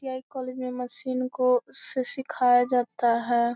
ITI. College में machine को सिखाया जाता है।